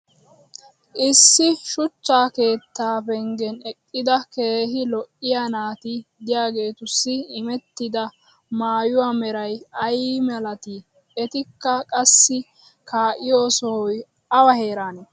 issi shuchcha keettaa penggen eqqida keehi lo'iya naati diyaageetussi immetidda maayuwa meray ay malatii? etikka qassi kaa'iyo sohoy awa heeraanee?